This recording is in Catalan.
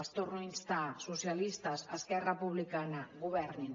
els torno a instar socialistes esquerra republicana governin